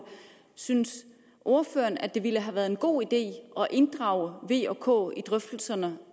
synes ordføreren at det ville have været en god idé at inddrage v og k i drøftelserne